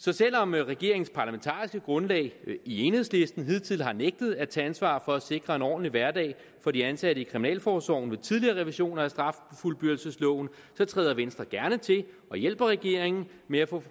så selv om regeringens parlamentariske grundlag enhedslisten hidtil har nægtet at tage ansvar for at sikre en ordentlig hverdag for de ansatte i kriminalforsorgen ved tidligere revisioner af straffuldbyrdelsesloven træder venstre gerne til og hjælper regeringen med at få